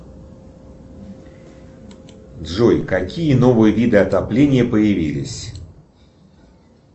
джой какие новые виды отопления появились